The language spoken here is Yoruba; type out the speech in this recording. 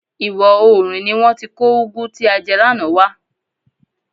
Ìwọ oòrùn ni wọ́n ti kó ugwu tí a jẹ lánàá wá.